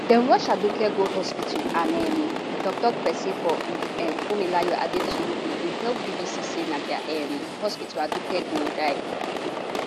dem rush aduke go hospital and um toktok pesin for uch funmilayo adetuyibi bin tell bbc say na dia um hospital aduke gold die